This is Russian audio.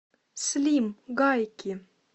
слим гайки